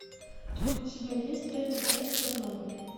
у тебя есть третья часть чернобыль